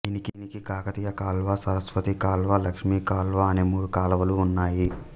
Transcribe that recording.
దీనికి కాకతీయ కాల్వ సరస్వతి కాల్వ లక్ష్మీ కాల్వ అనే మూడు కాల్వలు ఉన్నాయి